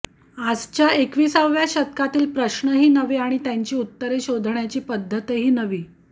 आजच्या एकविसाव्या शतकातील प्रश्नही नवे आणि त्यांची उत्तरे शोधण्याची पद्धतही नवी